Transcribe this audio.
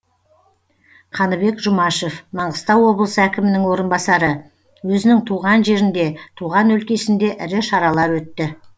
қаныбек жұмашев маңғыстау облысы әкімінің орынбасары өзінің туған жерінде туған өлкесінде ірі шаралар өтті